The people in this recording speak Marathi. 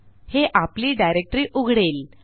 हे आपली डायरेक्टरी उघडेल